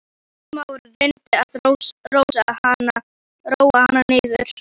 Smári reyndi að róa hana niður.